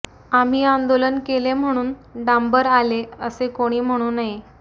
आम्ही आंदोलन केले म्हणून डांबर आले असे कोणी म्हणू नये